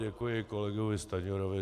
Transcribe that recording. Děkuji kolegovi Stanjurovi.